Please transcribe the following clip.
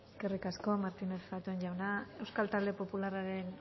eskerrik asko martínez zatón jauna euskal talde popularraren